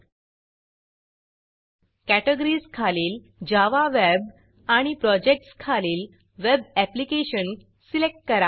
categories categories खालील Java web Java web आणि projects projects खालील web application web application select करा